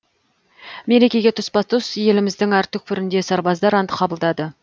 мерекеге тұспа тұс еліміздің әр түкпірінде сарбаздар ант қабылдады